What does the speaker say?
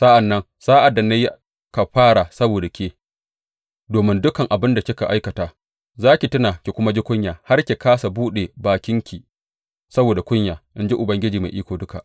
Sa’an nan, sa’ad da na yi kafara saboda ke domin dukan abin da kika aikata, za ki tuna ki kuma ji kunya har ki kāsa buɗe bakinki saboda kunya, in ji Ubangiji Mai Iko Duka.